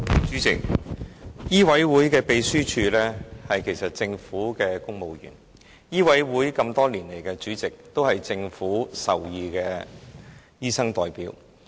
主席，醫委會的秘書處職員其實是政府公務員，而醫委會多年來的主席都是政府屬意的醫生代表。